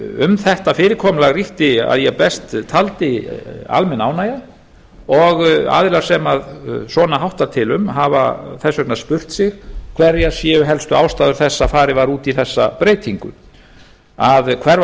um þetta fyrirkomulag ríkti að ég best taldi almenn ánægja og aðilar sem svona háttar til um hafa þess vegna spurt sig hverjar séu helstu ástæður þess að farið var út í þessa breytingu að hverfa